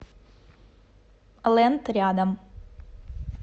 лэнд рядом